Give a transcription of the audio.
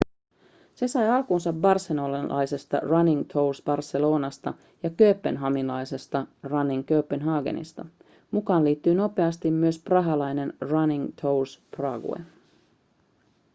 se sai alkunsa barcelonalaisesta running tours barcelonasta ja kööpenhaminalaisesta running copenhagenista mukaan liittyi nopeasti myös prahalainen running tours prague